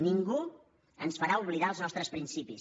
ningú ens farà oblidar els nostres principis